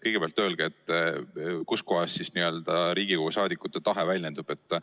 Kõigepealt öelge, kus kohas siis Riigikogu liikmete tahe väljendub?